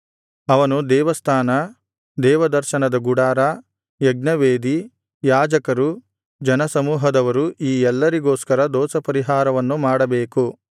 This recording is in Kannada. ಅವನು ದೇವಸ್ಥಾನ ದೇವದರ್ಶನದ ಗುಡಾರ ಯಜ್ಞವೇದಿ ಯಾಜಕರು ಜನಸಮೂಹದವರು ಈ ಎಲ್ಲರಿಗೋಸ್ಕರ ದೋಷಪರಿಹಾರವನ್ನು ಮಾಡಬೇಕು